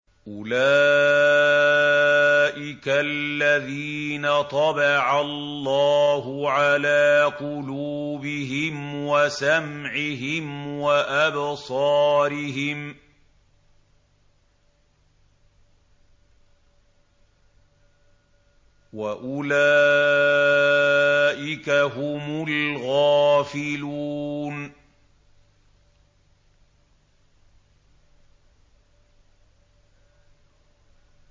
أُولَٰئِكَ الَّذِينَ طَبَعَ اللَّهُ عَلَىٰ قُلُوبِهِمْ وَسَمْعِهِمْ وَأَبْصَارِهِمْ ۖ وَأُولَٰئِكَ هُمُ الْغَافِلُونَ